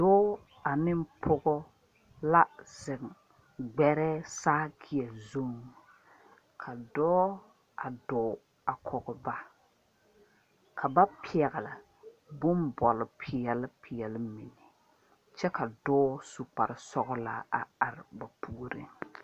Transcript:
Doɔ ani pɔgɔ la zeng gberɛɛ sakeɛ zung ka doɔ a duɔ a kɔg ba ka ba pɛgli bunboli peɛle peɛle mene kye ka doɔ su kpare sɔgla a arẽ ba pouring.